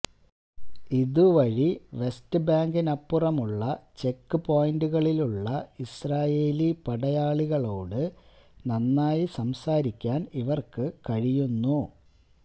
ഇതുവഴി വെസ്റ്റ്ബാങ്കിനപ്പുറമുള്ള ചെക്ക് പോയിന്റുകളിലുള്ള ഇസ്രായേലി പടയാളികളോട് നന്നായി സംസാരിക്കാന് ഇവര്ക്ക് കഴിയുന്നു